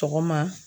Sɔgɔma